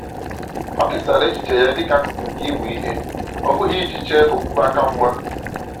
O kesara echiche ya dịka akụkụ nke ịmụ ihe, ọ bụghị iji chee okwukwe aka mgba.